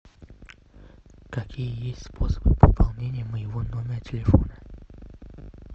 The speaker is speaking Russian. какие есть способы пополнения моего номера телефона